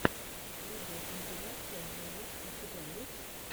видеокомпиляция джелот у тебя есть